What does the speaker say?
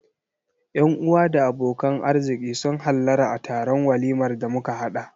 Yan-uwa da abokan arziƙi sun hallara a taron walimar da muka haɗa.